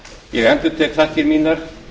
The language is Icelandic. ég endurtek þakkir mínar